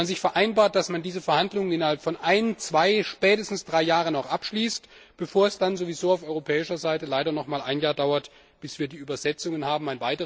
Dass man vereinbart, dass man diese Verhandlungen innerhalb von ein, zwei, spätestens drei Jahren abschließt, bevor es dann sowieso auf europäischer Seite leider noch mal ein Jahr dauert, bis wir die Übersetzungen haben.